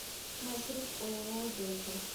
маршрут ооо дельта